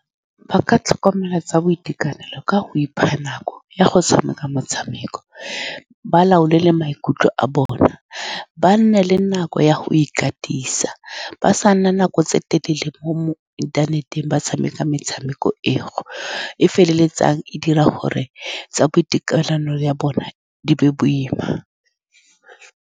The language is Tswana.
Ba ka tlhokomela tsa boitekanelo ka go ipha nako ya go tshameka motshameko, ba laole le maikutlo a bona, ba nne le nako ya go ikatisa, ba sa nna nako tse telele mo-mo inthaneteng. Ba tshameka metshameko eo e feleletsang e dira gore tsa boitekanelo ya bone di be boima.